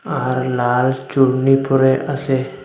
আর লাল চূর্ণী পড়ে আছে।